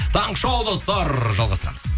таңғы шоу достар жалғастырамыз